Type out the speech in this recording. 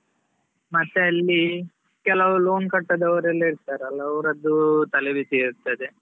ಮತ್ತೆ ಅಲ್ಲಿ ಕೆಲವು loan ಕಟ್ಟದವರು ಎಲ್ಲ ಇರ್ತಾರಲ್ಲಾ ಅವ್ರದ್ದು ತಲೆಬಿಸಿ ಇರ್ತದೆ.